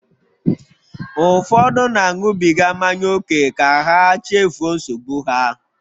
Ụfọdụ na-aṅụbiga mmanya ókè ka ha chefuo nsogbu ha.